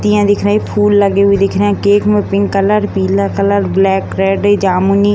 पत्तियाँ दिख रहीं हैं फूल लगे हुए दिख रहें हैं केक में पिंक कलर पीला कलर ब्लैक रेड जामुनी --